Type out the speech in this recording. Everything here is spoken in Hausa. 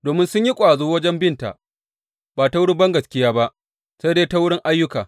Domin sun yi ƙwazo wajen binta ba ta wurin bangaskiya ba sai dai ta wurin ayyuka.